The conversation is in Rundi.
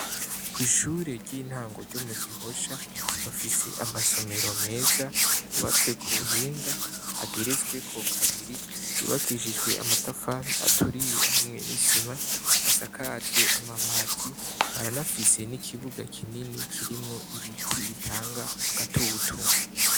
Kw'ishure ry'intango ryo mu gihosha bafise amasomero meza yubatswe ku buhinga ageretsweko kabiri yubakishijwe amatafari aturiye hamwe n'isima asakajwe amabati baranafise n'ikibuga kinini kirimwo ibiti bitanga agatutu.